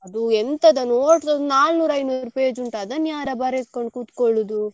ಅದು ಎಂತದ notes ಒಂದು ನಾನೂರು ಐನೂರು page ಉಂಟು ಅದನ್ನ ಯಾರ ಬರೆದ್ಕೊಂಡು ಕುತ್ಕೊಳುದು.